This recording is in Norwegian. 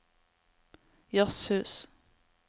jazzhus